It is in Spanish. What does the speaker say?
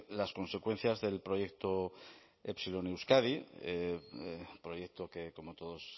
las consecuencias del proyecto epsilon euskadi proyecto que como todos